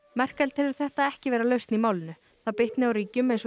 Merkel telur þetta ekki vera lausn í málinu það bitni á ríkjum eins og